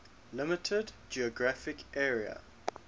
limited geographic area